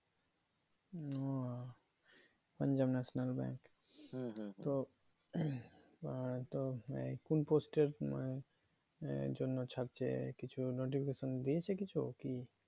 Punjab national bank তো আর তো এই কোন post এর এই জন্য ছাড়ছে কিছু notification দিয়েছে কিছু কি?